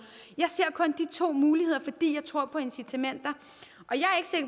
jeg ser kun de to muligheder fordi jeg tror på incitamenter